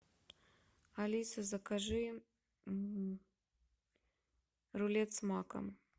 алиса закажи рулет с маком